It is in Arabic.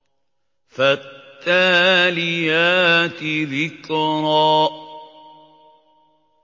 فَالتَّالِيَاتِ ذِكْرًا